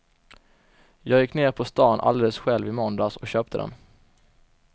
Jag gick ner på stan alldeles själv i måndags och köpte den.